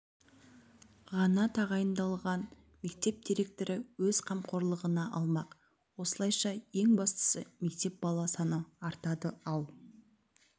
ғана тағайындалған мектеп директоры өз қамқорлығына алмақ осылайша ең бастысы мектепте бала саны артады ал